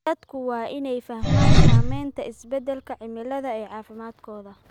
Dadku waa inay fahmaan saameynta isbeddelka cimilada ee caafimaadkooda.